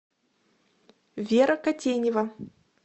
вера котенева